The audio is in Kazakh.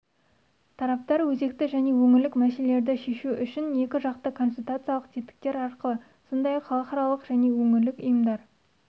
тараптар өзекті және өңірлік мәселелерді шешу үшін екіжақты консультациялық тетіктер арқылы сондай-ақ халықаралық және өңірлік ұйымдар